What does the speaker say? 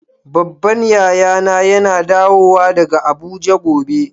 Babban yaya na yana dawo daga Abuja gobe.